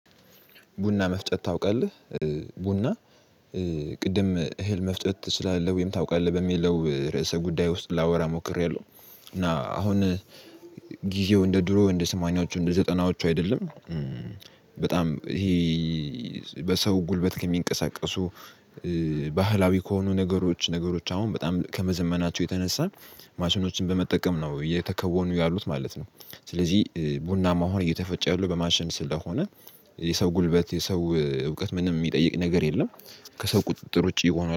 ቡና መፍጨት ታውቃለህ ቡና ቅድም እህል መፍጨት ትችላለህ ወይም ታውቃለህ በሚለው ርዕሰ ጉዳይ ውስጥ ላወራ ሞክሬያለሁ። እና አሁን ጊዜው እንደ ድሮ እንደ ስማንያዎቹ እንደ ዘጠናዎቹ አይደለም። በጣም ይሄ በሰው ጉልበት ከሚንቀሳቀሱ ባህላዊ ከሆኑ ነገሮች ነገሮች አሁን በጣም ከመዘመናቸው የተነሳን ማሽኖችን በመጠቀም ነው እየተከወኑ ያሉት ማለት ነው። ስለዚህ ቡናም አሆን እየተፈጨ ያለው በማሽን ስለሆነ የሰው ጉልበት የሰው እውቀት ምንም የሚጠይቅ ነገር የለም። ከሰው ቁጥጥር ውጪ ይሆናል